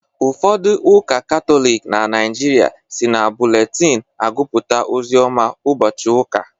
Ụfodu ụka katọlịk na naijịrịa si na bụletin agupụta ozioma ubochi ụka